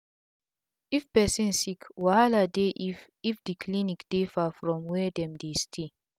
if pesin sick wahala dey if if d clinic dey far from were dem dey stay